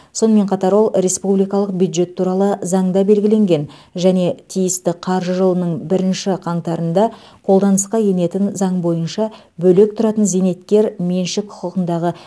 сонымен қатар ол республикалық бюджет туралы заңда белгіленген және тиісті қаржы жылының бірінші қаңтарында қолданысқа енетін заң бойынша бөлек тұратын зейнеткер меншік құқығындағы